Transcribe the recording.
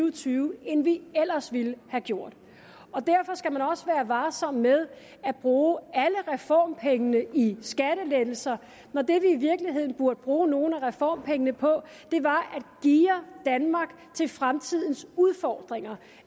og tyve end vi ellers ville have gjort derfor skal man også være varsom med at bruge alle reformpengene i skattelettelser når det vi i virkeligheden burde bruge nogle af reformpengene på var at geare danmark til fremtidens udfordringer